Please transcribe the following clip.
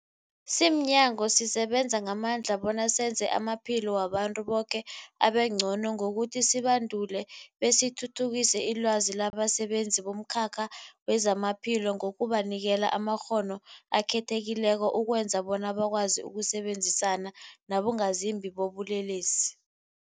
Simnyango, sisebenza ngamandla bona senze amaphilo wabantu boke abengcono ngokuthi sibandule besithuthukise ilwazi labasebenzi bomkhakha wezamaphilo ngokubanikela amakghono akhethekileko ukwenzela bona bakwazi ukusebenzisana nabongazimbi bobulelesi.